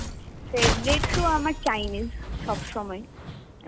favorite তো আমার Chinese সবসময়.